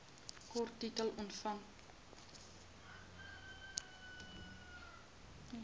kort titel omvang